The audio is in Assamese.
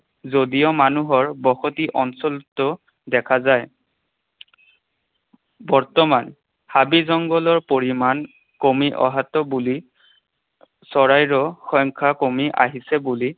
যদিও মানুহৰ বসতি অঞ্চলতো দেখা যায়। বৰ্তমান হাবি জংঘলৰ পৰিমাণ কমি অহাটো বুলি, চৰাইৰো সংখ্যা কমি আহিছে বুলি